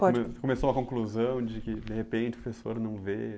come começou a conclusão de que, de repente, o professor não vê.